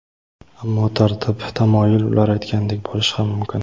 Ammo tartib-tamoyil ular aytgandek bo‘lishi ham mumkin.